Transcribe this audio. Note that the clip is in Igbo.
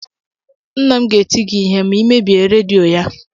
Nna m ga-eti gị ihe ma ị mebie redio ya